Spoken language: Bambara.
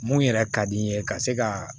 Mun yɛrɛ ka di n ye ka se ka